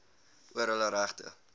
oor hulle regte